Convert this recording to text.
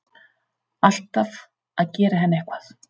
Alltaf að gera henni eitthvað.